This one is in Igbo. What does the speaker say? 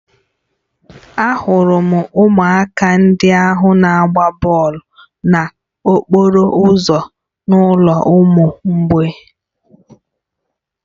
Ahụrụ m ụmụaka ndị ahụ na-agba bọọlụ n'okporo ụzọ n'ụlọ ụmụ mgbei